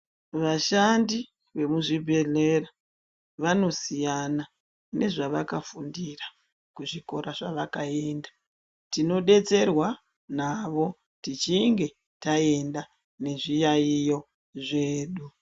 Vashandi vemuzvibhedhlera vanosiyana nezvavakafundira kuzvikora zvavakaenda tinodetserwa navo tichinge taenda nezviyaiyo zvedu.